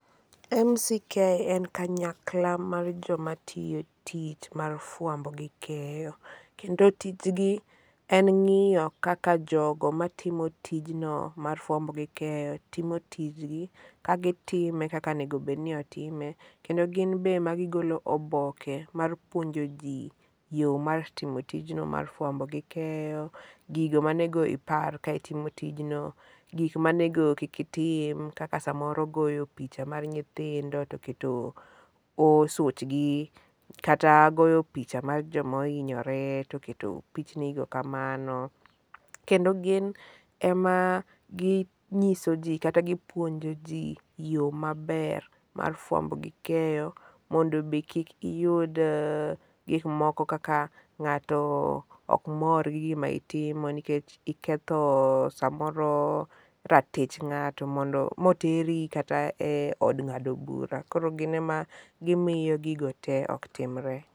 MCK en kanyakla mar jo matiyo tich mar fwambo gi keyo. Kendo tijgi en ng'iyo kaka jogo matimo tijno mar fwamb gimkeyo timo tijgi ka gitime kaka onego obedni otime, kendo ginbe magigolo oboke mar puonjo ji yoo mar timo tijno mar fwambo gi keyo, gigo monego ipar ka itimo tijno, gik monego kik itim, kaka samoro goyo picha mar nyithindo to keto ah suchgi, kata goyo picha mar jomohinyore, to keto pichnigo kamano. Kendo gin ema ginyiso ji kata gipuonjo ji yoo maber mar fwambo gi keyo mondo be kik iyud ah gik moko kaka ng'ato gi gi ma itimo nikech iketho samoro ratich ng'ato mondo moteri kata e od ng'ado bura koro gine ma gimiyo gigo te ok timre.